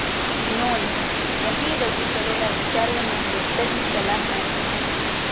નોંધઃ અહીં રજૂ કરેલા વિચારોને ડોક્ટરની સલાહ માનવી નહિ